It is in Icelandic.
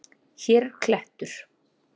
Hér er klettur.